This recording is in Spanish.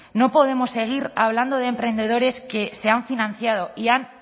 no podemos seguir hablando de emprendedores que se han financiado y han